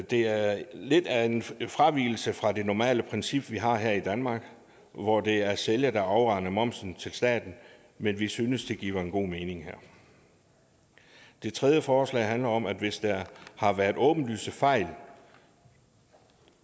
det er lidt af en fravigelse fra det normale princip vi har her i danmark hvor det er sælger der afregner momsen til staten men vi synes det giver god mening her det tredje forslag handler om at der hvis der har været åbenlyse fejl